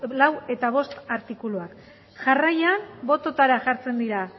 lau eta bost artikuluak jarraian bototara jartzen dira